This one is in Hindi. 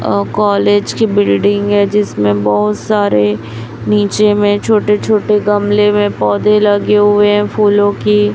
और कॉलेज की बिल्डिंग है जिसमें बहोत सारे नीचे में छोटे छोटे गमले में पौधे लगे हुए है। फूलों की--